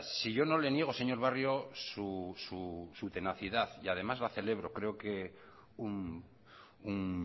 si yo no le niego señor barrio su tenacidad y además la celebro creo que un